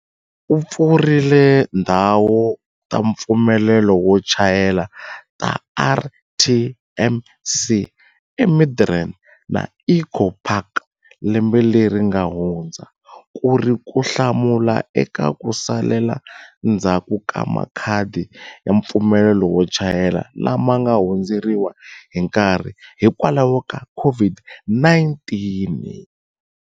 U pfurile tindhawu ta mpfumelelo wo chayela ta RTMC eMidrand na Eco Park lembe leri nga hundza, ku ri ku hlamula eka ku salela ndzhaku ka makhadi ya mpfumelelo wo chayela lama nga hundzeriwa hi nkarhi hikwalaho ka COVID-19.